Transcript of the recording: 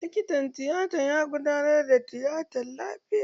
Likitan tiyata ya gudanar da tiyatan lafiya.